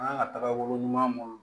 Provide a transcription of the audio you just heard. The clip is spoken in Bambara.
An kan ka taga bolo ɲuman mun